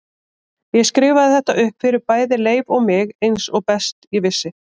Ég skrifaði þetta upp fyrir bæði Leif og mig eins og best ég vissi.